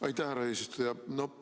Aitäh, härra eesistuja!